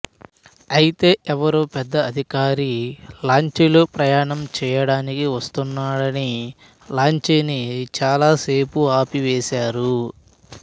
అయితే ఎవరో పెద్ద అధికారి లాంచీలో ప్రయాణం చేయడానికి వస్తున్నాడని లాంచీని చాలా సేపు ఆపివేశారు